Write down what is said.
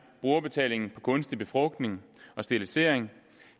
brugerbetalingen på kunstig befrugtning og sterilisering